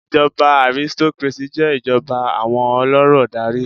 Ìjọba aristocracy jé ìjọba íi àwọn olórò n darí